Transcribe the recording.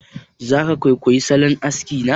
Za ka kwaikwayi salon aski na?